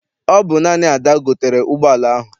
Ọ bụ Ada gotere ụgbọala ahụ.